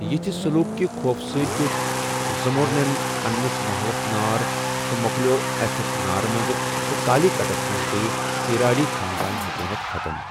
یِتِھ سلوٗک کہِ خوفہٕ سۭتۍ دِیُت زموریننن پنِنِس مَحلَس نار تہٕ مو٘كلیو٘ اتھہِ نارس منز ، تہٕ كالی كٹس منز گیہ اِراڈی خاندٲن حكوُمت ختم ۔